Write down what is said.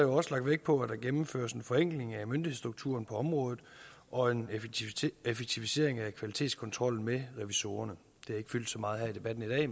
også lagt vægt på at der gennemføres en forenkling af myndighedsstrukturen på området og en effektivisering af kvalitetskontrollen med revisorerne det har ikke fyldt så meget i debatten her i